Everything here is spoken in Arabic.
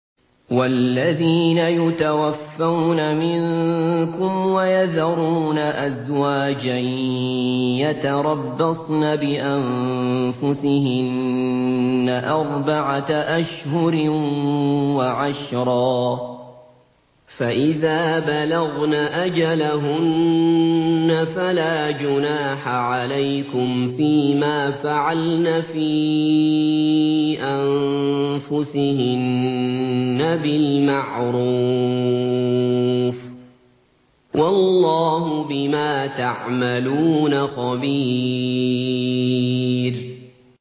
وَالَّذِينَ يُتَوَفَّوْنَ مِنكُمْ وَيَذَرُونَ أَزْوَاجًا يَتَرَبَّصْنَ بِأَنفُسِهِنَّ أَرْبَعَةَ أَشْهُرٍ وَعَشْرًا ۖ فَإِذَا بَلَغْنَ أَجَلَهُنَّ فَلَا جُنَاحَ عَلَيْكُمْ فِيمَا فَعَلْنَ فِي أَنفُسِهِنَّ بِالْمَعْرُوفِ ۗ وَاللَّهُ بِمَا تَعْمَلُونَ خَبِيرٌ